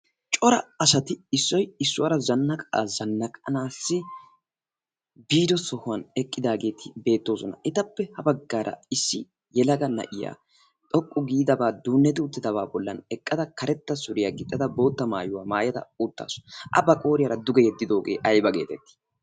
cora asati issoy issuwaara zannaqaa zannaqanaassi biido sohuwan eqqidaageeti beettoosona etappe ha baggaara issi yelaga na'iya xoqqu giidabaa duunneti uttidabaa bollan eqqada karetta suriyaa gixxada bootta maayuwaa maayada uuttaasu a ba qooriyaara duge yeddidoogee aiba geetettii?